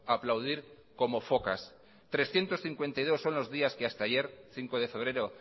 a aplaudir como focas trescientos cincuenta y dos son los días que hasta ayer cinco de febrero